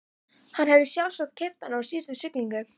Hann hafði sjálfsagt keypt hann í síðustu siglingu.